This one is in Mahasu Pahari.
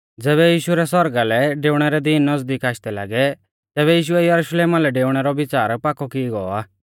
ज़ैबै यीशु रै सौरगा लै डेऊणै रै दीन नज़दीक आशदै लागै तैबै यीशुऐ यरुशलेमा लै डेऊणै रौ विच़ार पाकौ की गौ आ